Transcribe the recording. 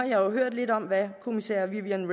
jo hørt lidt om hvad kommissær viviane